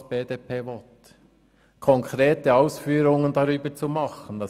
Was heisst «konkrete Ausführungen darüber zu machen»?